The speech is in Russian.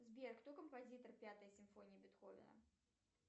сбер кто композитор пятой симфонии бетховена